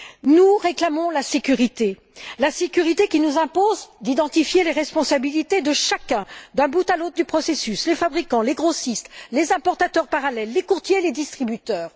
Nous réclamons la sécurité, qui nous impose d'identifier les responsabilités de chacun d'un bout à l'autre du processus les fabricants, les grossistes, les importateurs parallèles, les courtiers et les distributeurs.